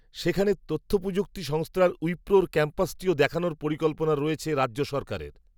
সেখানে তথ্যপ্রযুক্তি সংস্থার উইপ্রোর ক্যাম্পাসটিও দেখানোর পরিকল্পনা রয়েছে. রাজ্য সরকারের